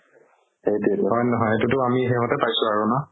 হয় নে নহয় এইটোতো আমি সেইহতে পাইছো আৰু ন